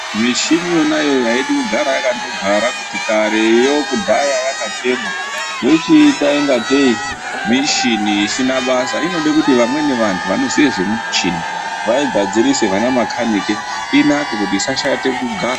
Mishini yona iyoyo aidi kugara yakandogara kuti kareyo kudhaya yakandotengwa yochiita kungatei mishini isina basa. Inoda kuti vamweni vanhu vanoziya nezvemuchini vana makhanike inake isashate kugara.